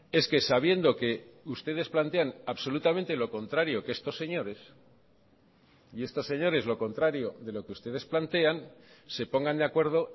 es que sabiendo que ustedes plantean absolutamente lo contrario que estos señores y estos señores lo contrario de lo que ustedes plantean se pongan de acuerdo